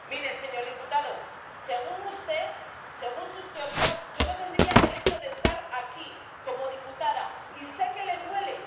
Mire, señor diputado, según usted, según sus teorías, yo no tendría derecho a estar aquí como diputada, y sé que le duele.